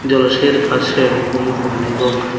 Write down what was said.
জলাশয়ের পাশে অনেকগুলি বন এবং--